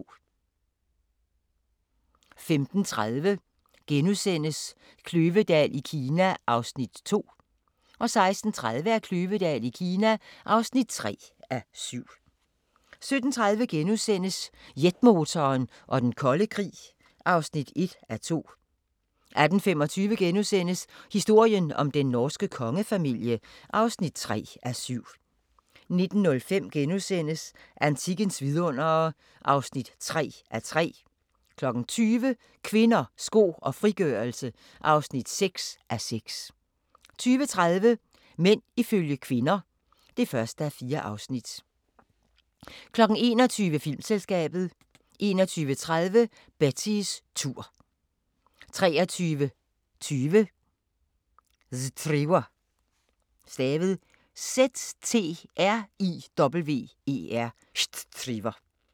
15:30: Kløvedal i Kina (2:7)* 16:30: Kløvedal i Kina (3:7) 17:30: Jetmotoren og den kolde krig (1:2)* 18:25: Historien om den norske kongefamilie (3:7)* 19:05: Antikkens vidundere (3:3)* 20:00: Kvinder, sko og frigørelse (6:6) 20:30: Mænd ifølge kvinder (1:4) 21:00: Filmselskabet 21:30: Betties tur 23:20: Ztriwer